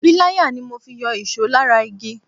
Pilaya ni mo fi yọ ìṣó lára igi.